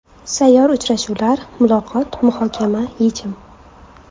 Sayyor uchrashuvlar: muloqot, muhokama, yechim.